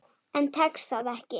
En tekst það ekki.